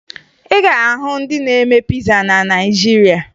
Ị ga-ahụ ndị na-eme piza na Naịjirịa